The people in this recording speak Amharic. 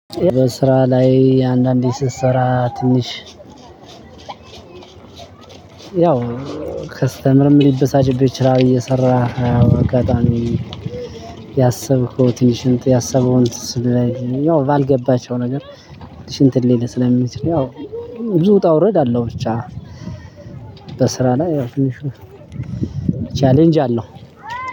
በስራ ላይ አንዳንዴ ስትሰራ ትንሽ ያው ከስተመርም ሊበሳጭብህ ይችላል። እየሰራህ አዎ አጋጣሚ ያሰብከው ትንሽን ያሰበውን ያው ባልገባቸው ነገር ትንሽ እንትን ሊልህ ስለሚችል። ያው ብዙ ውጣ ውረድ አለው። ብቻ በስራ ላይ ያው ትንሽ ቻሌንጅ አለው።